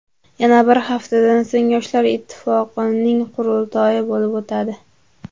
Yana bir haftadan so‘ng Yoshlar ittifoqining qurultoyi bo‘lib o‘tadi.